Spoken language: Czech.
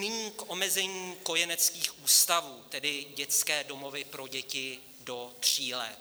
Nyní k omezení kojeneckých ústavů, tedy dětské domovy pro děti do tří let.